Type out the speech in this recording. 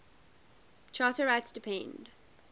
charter rights depend